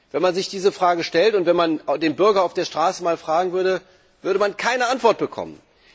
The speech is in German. Wenn man sich diese Frage stellt und wenn man den Bürger auf der Straße mal fragen würde, würde man keine Antwort bekommen.